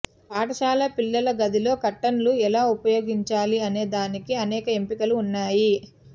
పాఠశాల పిల్లల గదిలో కర్టన్లు ఎలా ఉపయోగించాలి అనేదానికి అనేక ఎంపికలు ఉన్నాయి